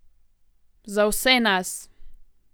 Za vse nas.